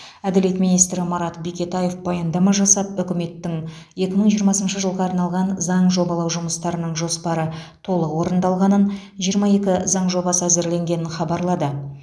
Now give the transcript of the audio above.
әділет министрі марат бекетаев баяндама жасап үкіметтің екі мың жиырмасыншы жылға арналған заң жобалау жұмыстарының жоспары толық орындалғанын жиырма екі заң жобасы әзірленгенін хабарлады